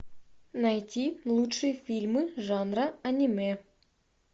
найти лучшие фильмы жанра аниме